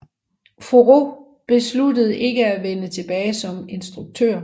Favreau besluttede ikke at vende tilbage som instruktør